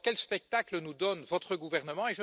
Or, quel spectacle nous donne votre gouvernement?